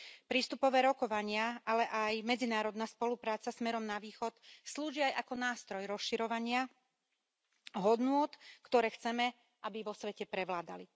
Prístupové rokovania, ale aj medzinárodná spolupráca smerom na východ slúži aj ako nástroj rozširovania hodnôt, ktoré chceme, aby vo svete prevládali.